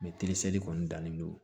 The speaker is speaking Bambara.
Mɛ teri seli kɔni dannen don